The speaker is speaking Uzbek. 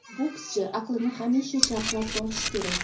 Bokschi aqlini hamisha charxlab borishi kerak.